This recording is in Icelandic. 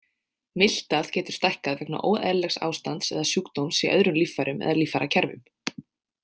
Miltað getur stækkað vegna óeðlilegs ástands eða sjúkdóms í öðrum líffærum eða líffærakerfum.